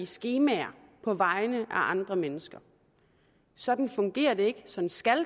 skemaer på vegne af andre mennesker sådan fungerer det ikke sådan skal